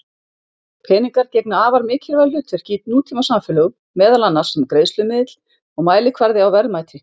Peningar gegna afar mikilvægu hlutverki í nútímasamfélögum, meðal annars sem greiðslumiðill og mælikvarði á verðmæti.